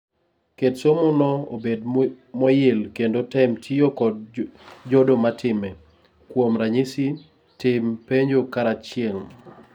ket somo no obed moyil kendo tem tiyo kod jodo matime, kuom ranyisi tim penjo karachiel